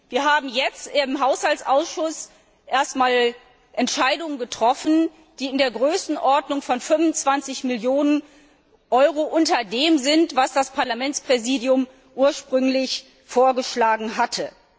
Wir haben jetzt im Haushaltsausschuss erst einmal Entscheidungen über Mittelzuweisungen getroffen, die in der Größenordnung von 25 Millionen Euro unter dem liegen, was das Parlamentspräsidium ursprünglich vorgeschlagen hatte.